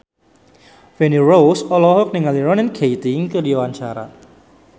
Feni Rose olohok ningali Ronan Keating keur diwawancara